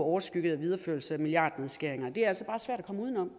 overskygget af videreførelse af milliardnedskæringer og det er altså bare svært at komme udenom